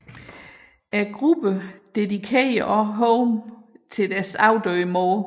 Gruppen dedikerede også Home til deres afdøde mor